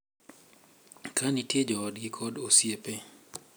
Ka nitie joodgi kod osiepe